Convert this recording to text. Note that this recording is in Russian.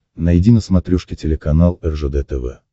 найди на смотрешке телеканал ржд тв